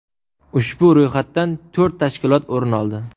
Ushbu ro‘yxatdan to‘rt tashkilot o‘rin oldi.